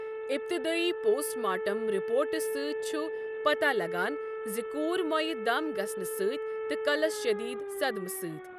اِبتِدٲیی post mortem رپورٹہٕ سۭتۍ چھُ پتہ لَگان زِ کوٗر مۄیہٕ دَم گٔسنہٕ سۭتۍ تہٕ کَلَس شٕدیٖد صدمہٕ سۭتۍ۔